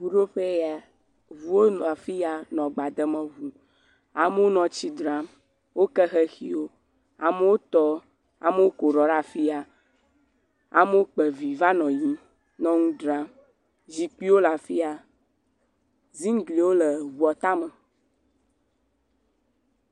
Ŋuɖoƒee ya, ŋuwo nɔ afia nɔ agba dem ŋu. Amewo nɔ tsi dzram. Woke xexiwo, amewo tɔ, amewo ko ɖɔ ɖe afia, amewo kpa vi va nɔ yiyim nɔ nu dzram. Zikpuiwo le afia. Ziŋgliwo le ŋua tame.